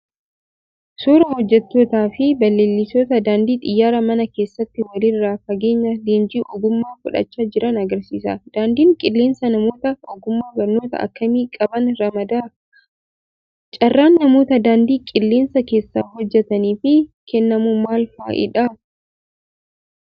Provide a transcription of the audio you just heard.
Suuraa hojjettootaa fi balaliistota daandii xiyyaaraa mana keessatti walirraa fageenyaan leenjii ogummaa fudhachaa jiran agarsiisa. Daandiin qilleensaa namoota ogummaa barnootaa akkamii qaban ramada? carraan namoota daandii qilleensaa keessa hojjettaniif kennamu maal fa'idha?